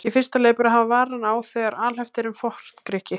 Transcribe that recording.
Í fyrsta lagi ber að hafa varann á þegar alhæft er um Forngrikki.